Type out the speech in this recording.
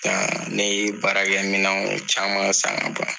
Nka n'i ye baarakɛminɛw caman san ka ban .